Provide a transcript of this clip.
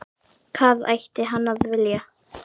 Hvað ætti hann að vilja?